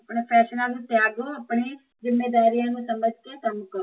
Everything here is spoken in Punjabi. ਫ਼ੈਸ਼ਨਾ ਨੂੰ ਤਿਆਗੋ, ਆਪਣੇ ਜ਼ਿਮੇਦਾਰੀਆ ਨੂੰ ਸਮਜ ਕੇ ਕੰਮ ਕਰੋ